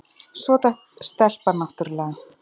Svo datt stelpan náttúrlega.